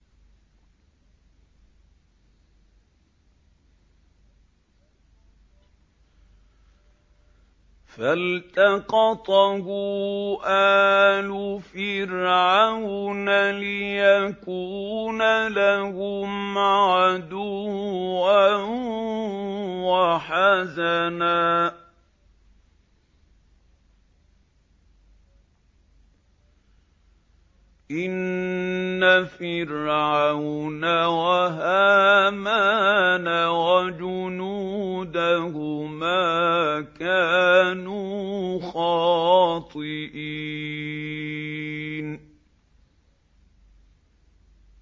فَالْتَقَطَهُ آلُ فِرْعَوْنَ لِيَكُونَ لَهُمْ عَدُوًّا وَحَزَنًا ۗ إِنَّ فِرْعَوْنَ وَهَامَانَ وَجُنُودَهُمَا كَانُوا خَاطِئِينَ